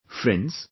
Friends,